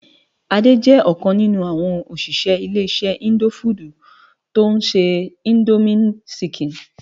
Ade jè okàn ninú áwòn óṣiṣẹ ile-iṣẹ indófúdú tó nṣé Indómi ṣìkín.